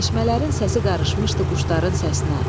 Çeşmələrin səsi qarışmışdı quşların səsinə.